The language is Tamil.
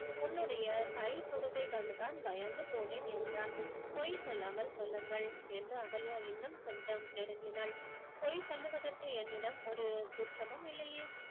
உன்னுடைய கைதுடுக்கை கண்டு தான் பயந்து போனேன் என்றான் பொய் சொல்லாமல் சொல்லுங்கள் என்று அகல்யா இன்னும் கொஞ்சம் நெருங்கினாள் பொய் சொல்லுவதற்கு என்னிடம் ஒரு குற்றமும் இல்லையே